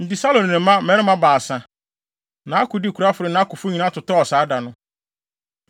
Enti Saulo ne ne mma mmarima baasa, nʼakodekurafo ne nʼakofo nyinaa totɔɔ saa da no.